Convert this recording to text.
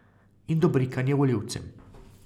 In dobrikanje volivcem.